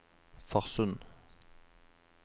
Farsund